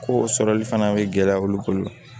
Ko sɔrɔli fana bɛ gɛlɛya olu bolo